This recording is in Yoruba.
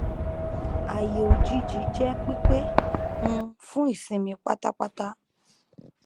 ààyè òjijì jẹ pípé um fún ìsinmi pátápátá